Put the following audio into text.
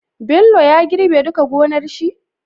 Bello ya girbe duka gonar shi?